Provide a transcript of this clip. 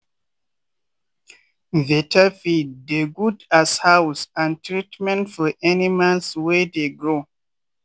better feed dey good as house and treatment for animals wey dey grow.